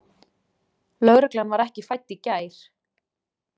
Lögreglan var ekki fædd í gær.